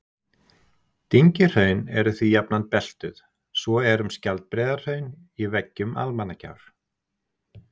Dyngjuhraun eru því jafnan beltuð, svo er um Skjaldbreiðarhraun í veggjum Almannagjár.